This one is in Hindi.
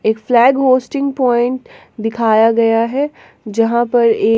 एक फ्लैग होस्टिंग पॉइंट दिखाया गया है जहां पर ए--